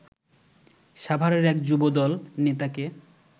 সাভারের এক যুবদল নেতাকে